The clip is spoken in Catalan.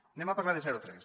anem a parlar de zero tres